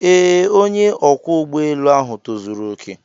Ee, onye ọkwọ ụgbọ elu ahu tozuru oke.